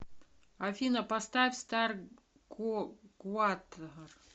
афина поставь стар гуатар